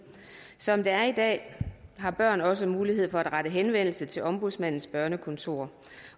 som det er i dag har børn også mulighed for at rette henvendelse til ombudsmandens børnekontor